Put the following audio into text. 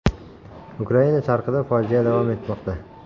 Ukraina sharqida fojia davom etmoqda.